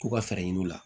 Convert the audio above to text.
K'u ka fɛɛrɛ ɲini u la